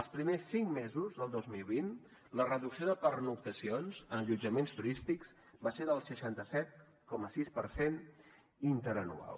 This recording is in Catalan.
els primers cinc mesos del dos mil vint la reducció de pernoctacions en allotjaments turístics va ser del seixanta set coma sis per cent interanual